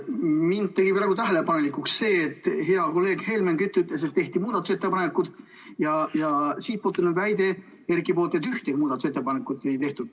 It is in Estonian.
Mind tegi praegu tähelepanelikuks see, et hea kolleeg Helmen Kütt ütles, et tehti muudatusettepanekuid, ja Erkilt tuli väide, et ühtegi muudatusettepanekut ei tehtud.